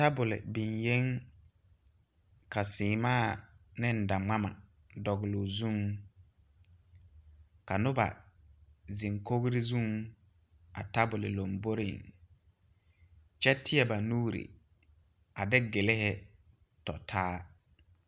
Tabul biŋe ka semaa ne daŋmama dogle o zuŋ. Ka noba zeŋ kogre zuŋ a tabul lombɔreŋ. Kyɛ teɛ ba nuure a de gyilihe tɔtaa